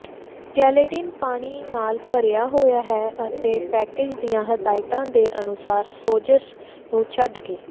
gelatin ਪਾਣੀ ਨਾਲ ਭਰਿਆ ਹੋਇਆ ਹੈ ਅਤੇ ਪੈਕੇਜ਼ ਦੀਆਂ ਹਦਾਇਤਾਂ ਦੇ ਅਨੁਸਾਰ ਸੋਜ਼ਸ਼ ਨੂੰ ਛੱਡਕੇ